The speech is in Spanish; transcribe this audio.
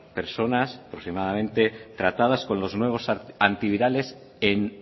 personas aproximadamente tratadas con los nuevos antivirales en